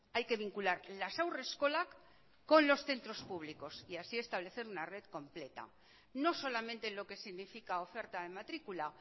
hay que vincular las haurreskolak con los centros públicos y así establecer una red completa no solamente lo que significa oferta en matricula